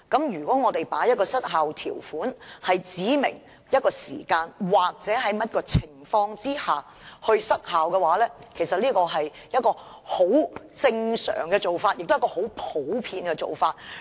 如果加入有關失效日期的條文，指明在某個時間或某種情況下失效，其實是一種既正常亦普遍的做法。